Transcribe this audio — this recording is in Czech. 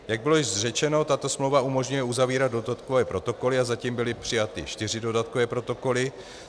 Jak bylo již řečeno, tato smlouva umožňuje uzavírat dodatkové protokoly a zatím byly přijaty čtyři dodatkové protokoly.